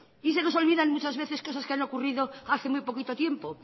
se nos olvidan muchas veces los casos que han ocurrido hace muy poquito tiempo